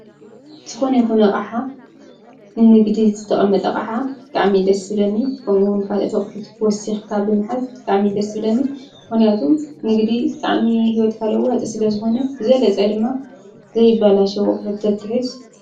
ዝኾነ ይኮነ ዓ ንንግዲ ዝተቐመጠ ቐዓ ብጣዕሚ ደሥብለኒ ከምኡውን ካል ተቝሒት ወሲሕካ ብምሐዝ ብጣኣሚ ደሥብለኒ ሆንያቱም ንግዲ ጣኣሚ ሕይወት ካልውጽ ስለ ዝኾነ ዘለጸ ድማ ዘይባላ ሸወቕ ርተትብጽ።